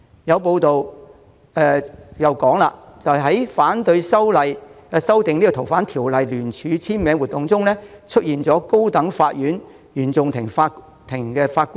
有報道指出，在聯署反對修訂《逃犯條例》的活動中，簽名人士包括一位高等法院原訟法庭法官。